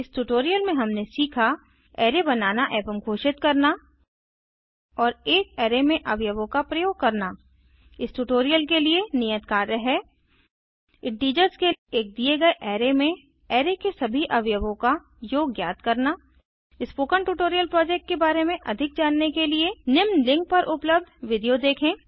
इस ट्यूटोरियल में हमने सीखा अराय बनाना एवं घोषित करना और एक अराय में अवयवों का प्रयोग करना इस ट्यूटोरियल के लिए नियत कार्य है इंटीजर्स के एक दिए गए अराय में अराय के सभी अवयवों का योग ज्ञात करना स्पोकन ट्यूटोरियल प्रोजेक्ट के बारे में अधिक जानने के लिए निम्न लिंक पर पर उपलब्ध वीडियो देखें